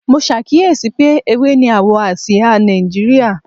Mo ṣàkíyèsí pé ewé ni àwọ̀ àsìá Nàìjíríà